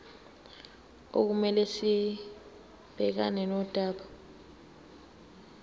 okumele sibhekane nodaba